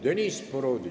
Deniss Boroditš.